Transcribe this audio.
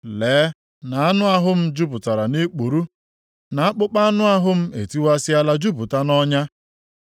Lee na anụ ahụ m jupụtara nʼikpuru, na akpụkpọ; anụ ahụ m etiwasịala jupụta nʼọnya.